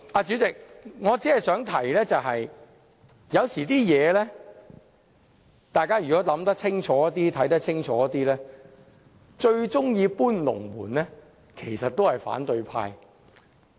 主席，我想說的是，只要大家仔細看看和想想，便會知道最喜歡"搬龍門"的其實是反對派。